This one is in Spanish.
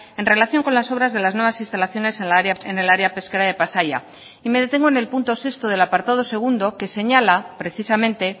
en relación con las obras de las nuevas instalaciones en el área pesquera de pasaia y me detengo en el punto sexto del apartado segundo que señala precisamente